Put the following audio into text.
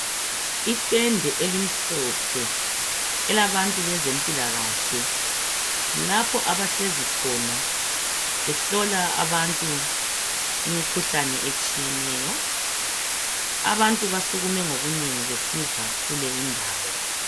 Itende elimhlophe elabantu bezempilakahle. Kulapho abahlezi khona behlola abantu imikhuhlane etshiyeneyo. Abantu basukume ngobunengi besiza kule indawo.